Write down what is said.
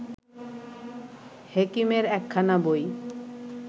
হেকিমের একখানা বই